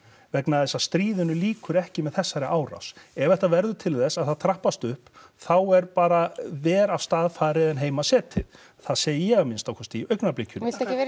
vegna þess að stríðinu lýkur ekki með þessari árás ef þetta verður til þess að það trappast upp þá er bara vera af stað farið en heima setið það segi ég að minnsta kosti í augnablikinu